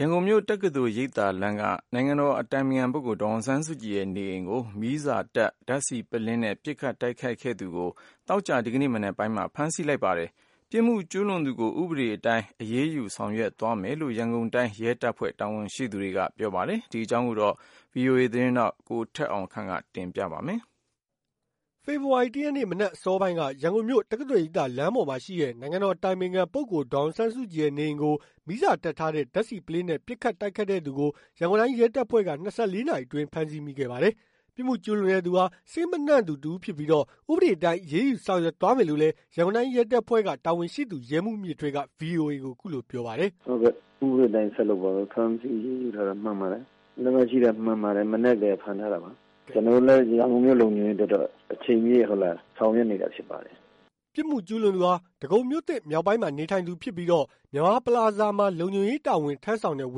ရန်ကုန်မြို့ တက္ကသိုလ်ရိပ်သာလမ်းပေါ်က နိုင်ငံတော်အတိုင်ပင်ခံပုဂ္ဂိုလ် ဒေါ်အောင်ဆန်းစုကြည်ရဲ့နေအိမ်ကို မီးစာတပ်ထားတဲ့ ဓာတ်ဆီပုလင်းနဲ့ ပစ်ခတ် တိုက်ခိုက်တဲ့သူကို ဒီကနေ့မနက်ပိုင်းက ဖမ်းဆီးမိခဲ့ပါတယ်။ ပြစ်မှုကျူးလွန်သူကို ဥပဒေအတိုင်း အရေးယူဆောင်ရွက် သွားမယ်လို့ ရန်တိုင်းရဲတပ်ဖွဲ့က တာဝန်ရှိသူက ပြောပါတယ်။ ဒီအကြောင်းကို ဗွီအိုအေမြန်မာပိုင်း သတင်းထောက် ကိုထက်အောင်ခန့်က သတင်းပေးပို့ထားပါတယ်။ ဖေဖော်ဝါရီ ၁ ရက်နေ့ မနက်အစောပိုင်းက ရန်ကုန်မြို့ တက္ကသိုလ်ရိပ်သာ လမ်းပေါ်မှာရှိတဲ့ နိုင်ငံတော်အတိုင်ပင်ခံပုဂ္ဂိုလ် ဒေါ်အောင်ဆန်းစုကြည်ရဲ့နေအိမ် ကို မီးစာတပ်ထားတဲ့ ဓာတ်ဆီပုလင်းနဲ့ ပစ်ခတ်တိုက်ခိုက်တဲ့သူကို ရန်ကုန်တိုင်းရဲတပ်ဖွဲ့က ၂၄ နာရီအတွင်း ဖမ်းဆီးမိခဲ့ပါတယ်။ ပြစ်မှုကျူးလွန်တဲ့သူဟာ စိတ်မနှံ့သူ တစ်ဦးဖြစ်ပြီးတော့ ဥပဒေတိုင်း အရေးယူဆောင်ရွက်မယ်လို့လည်း ရန်ကုန်တိုင်းရဲတပ်ဖွဲ့က တာဝန်ရှိသူ ရဲမှူးမြင့်ထွေးက VOA ကိုအခုလိုပြောပါတယ်။ "ဟုတ်ကဲ့ ဥပဒေတိုင်းဆက်လုပ်သွားပါမယ်။ဖမ်းဆီးအရေးယူထားတာမှန်ပါတယ်။ လက်မှတ်ရှိတာမှန်ပါတယ်။ မနက်ကတည်းက ဖမ်းထားတာ ပါ။ ကျွန်တော်တို့လည်းရန်ကုန်မြို့လုံခြုံရေးအတွက်တော့ အချိန်ပြည့်ဆောင်ရွက်နေတာဖြစ်ပါတယ်။" ပြစ်မှုကျူးလွန်သူဟာ ဒဂုံမြို့သစ်မြောက်ပိုင်းမှာနေထိုင်သူဖြစ်ပြီးတော့ မြန်မာပလာဇာမှာ လုံခြုံရေးတာဝန် ထမ်းဆောင်တဲ့ ဝ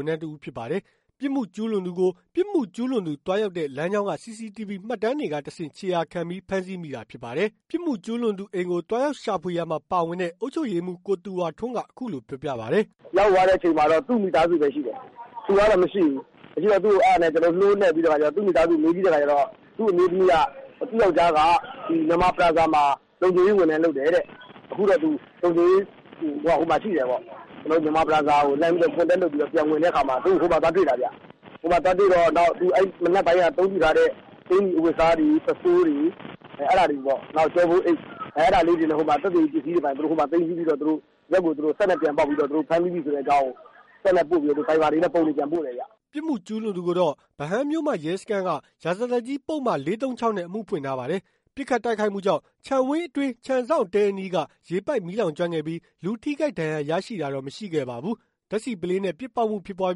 န်ထမ်းတစ်ဦး ဖြစ်ပါတယ်။ ပြစ်မှုကျူးလွန်သူကို ပြစ်မှုကျူးလွန်သူ သွားရောက်တဲ့ လမ်းကြောင်းက CCTV မှတ်တမ်းတွေက တဆင့် ခြေရာခံပြီး ဖမ်းဆီးမိတာ ဖြစ်ပါတယ်။ ပြစ်မှုကျူးလွန်သူအိမ်ကို သွားရောက်ရှာဖွေရာမှာ ပါဝင်တဲ့ အုပ်ချုပ်ရေးမှူး ကိုသူရထွန်းက အခုလိုပြောပြပါတယ်။ "ရောက်သွားတဲ့အချိန်မှာ သူ့မိသားစုပဲရှိတယ် သူကတော့မရှိဘူး။ မရှိတော့အဲ့ဒါနဲ့နိုးနှက်ပြီးတော့ သူ့မိသားစုကိုမေးကြည့်တဲ့အခါကျတော့ သူ့အမျိုးသမီးက သူ့ယောက်ကျားက မြန်မာပလာဇာမှာလုံခြုံရေးဝန်ထမ်းလုပ်တယ်တဲ့ အခုတော့သူလုံခြုံရေး ဟိုမှာရှိတယ်ပေါ့။ ကျွန်တော်တို့ မြန်မာပလာဇာကို Contact လုပ်တဲ့အခါမှာ သူ့ကိုဟိုမှာသွားတွေ့တာခင်ဗျ။ ဟိုမှာသွားတွေ့တော့ သူမနက်ပိုင်းကအသုံးပြုထားတဲ့ အကျီ အဝတ်အစားတွေ ပုဆိုးတွေအဲ့ဒါတွေ နောက်ကျောပိုးအိတ် အဲ့ဒါတွေကို သူတို့ဟိုမှာသိမ်ဆည်းပြီးတော့ ဒီဘက်ကို စက်နဲ့ပြန်ပေါက်ပြီးတော့ သူတို့ဖမ်းပြီးပြီဆိုတဲ့အကြောင်းကို စက်နဲ့ပို့ပြီးဗိုက်ဗာတွေနဲ့ ပုံတွေပြန်ပို့တယ်ခင်ဗျ။" ပြစ်မှုကျူးလွန်သူကိုတော့ ဗဟန်းမြို့မရဲစခန်းက ရာဇသတ်ကြီးပုဒ်မ ၄၃၆ နဲ့ အမှုဖွင့်ထားပါတယ်။ ပစ်ခတ် တိုက်ခိုက်မှုကြောင့် ခြံဝင်းအတွင်း ခြံစောင့်တဲအနီးက ရေပိုက်မီးလောင်ကျွမ်းခဲ့ပြီး လူထိခိုက် ဒဏ်ရာရရှိတာတော့ မရှိခဲ့ပါဘူး။ ဓာတ်ဆီပုလင်းနဲ့ ပစ်ပေါက်မှု ဖြစ်ပွား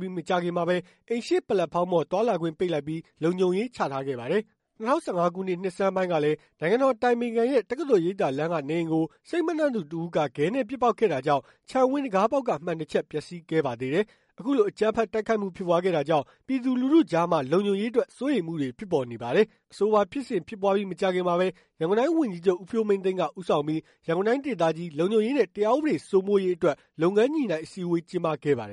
ပြီး မကြာခင်မှာပဲ အိမ်ရှေ့ ပလက်ဖောင်းပေါ်သွားလာခွင့် ပိတ်လိုက်ပြီး လုံခြုံရေးချထားခဲ့ပါတယ်။ ၂၀၁၅ ခုနှစ် နှစ်ဆန်းပိုင်းကလည်း နိုင်ငံတော်အတိုင်ပင်ခံရဲ့တက္ကသိုလ်ရိပ်သာလမ်းက နေအိမ်ကို စိတ်မနှံ့သူတစ်ဦးက ဂဲနဲ့ ပစ်ပေါက်ခဲ့တာကြောင့် ခြံဝင်းတံခါးပေါက်က မှန်တချပ် ပျက်စီးခဲ့ပါသေးတယ်။ အခုလို အကြမ်းဖက်တိုက်ခိုက်မှု ဖြစ်ပွားခဲ့တာကြောင့် ပြည်သူလူထုကြားမှာ လုံခြုံရေးအတွက် စိုးရိမ်မှုတွေဖြစ်ပေါ်နေပါတယ်။ အဆိုပါဖြစ်စဉ်ဖြစ်ပွားပြီးမကြာခင်မှာပဲ ရန်ကုန်တိုင်းဝန်ကြီးချုပ် ဦးဖြိုးမင်းသိန်းက ဦးဆောင်ပြီး ရန်ကုန်တိုင်းဒေသကြီး လုံခြုံရေးနဲ့တရား ဥပဒေစိုးမိုးရေး အတွက် လုပ်ငန်းညှိနှိုင်း အစည်းဝေးကျင်းပခဲ့ပါတယ်